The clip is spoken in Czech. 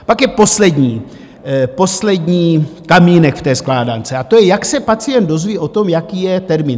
Pak je poslední kamínek v té skládance, a to je, jak se pacient dozví o tom, jaký je termín.